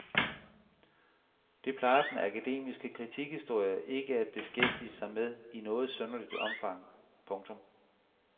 Det plejer den akademiske kritikhistorie ikke at beskæftige sig med i noget synderligt omfang. punktum